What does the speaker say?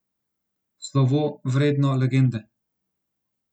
Slovo, vredno legende.